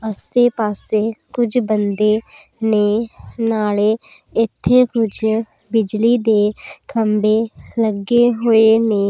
ਆਸੇ ਪਾੱਸੇ ਕੁਝ ਬੰਦੇ ਨੇਂ ਨਾਲੇ ਇੱਥੇ ਕੁਝ ਬਿਜਲੀ ਦੇ ਖੰਭੇ ਲੱਗੇ ਹੋਏ ਨੇ